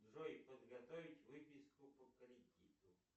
джой подготовить выписку по кредиту